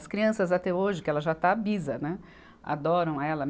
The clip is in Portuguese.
As crianças até hoje, que ela já está bisa, né, adoram ela.